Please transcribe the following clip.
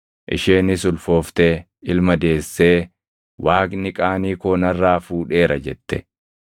Isheenis ulfooftee ilma deessee, “Waaqni qaanii koo narraa fuudheera” jette.